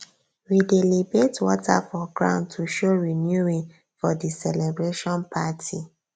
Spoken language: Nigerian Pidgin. we dey libate water for ground to show renewing for di celebration party